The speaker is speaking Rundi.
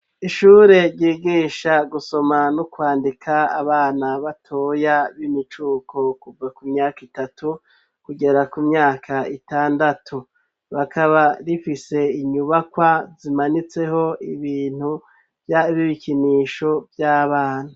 Ishure ryigisha gusoma no kwandika abana batoya b'imicuko kuva ku myaka itatu kugera ku myaka itandatu rikakaba rifise inyubakwa zimanitseko ibintu vy'ibibikinisho vy'abana.